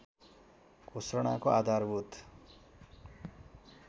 घोषणाको आधारभूत